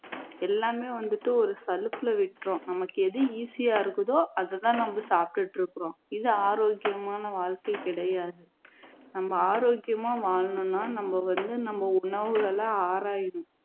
எல்லாமே வந்துட்டு ஒரு சலுப்புல விட்டுறோம் நமக்கு எது easy யா இருக்குதோ அதை தான் நம்ம சாப்பிட்டு இருக்கோம் இது ஆரோக்கியமான வாழ்க்கை கிடையாது நம்ம ஆரோக்கியமா வாழணும்னா நம்ம வந்து நம்ம உணவுகளை ஆராயணும்